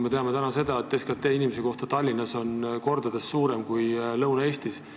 Me teame seda, et Tallinnas on SKT inimese kohta kordades suurem kui Lõuna-Eestis.